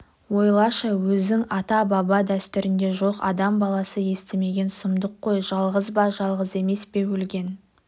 ойлашы өзің ата-баба дәстүрінде жоқ адам баласы естімеген сұмдық қой жалғыз ба жалғыз емес пе өлген